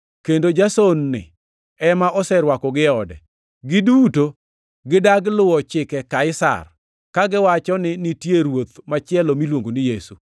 kendo Jason-ni ema oserwakogi e ode. Giduto gidagi luwo chike Kaisar, kagiwacho ni nitie ruoth machielo, miluongo ni Yesu.”